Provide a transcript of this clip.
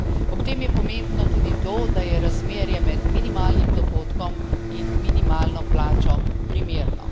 Ob tem je pomembno tudi to, da je razmerje med minimalnih dohodkom in minimalno plačo primerno.